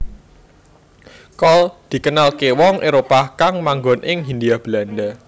Kol dikenalké wong Éropah kang manggon ing Hindia Belanda